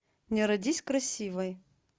не родись красивой